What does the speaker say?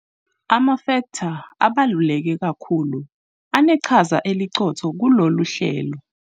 Amafektha abaluleke kakhulu aneqhaza eliqotho kulolu hlelo.